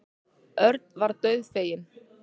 Örn varð dauðfeginn.